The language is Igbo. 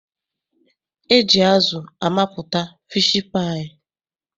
E ji azụ amapụta fiishi paayị.